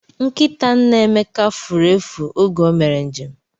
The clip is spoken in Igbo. Nkịta nna Emeka furu efu oge o mere njem